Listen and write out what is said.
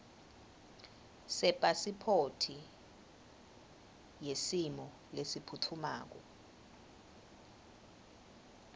sepasiphothi yesimo lesiphutfumako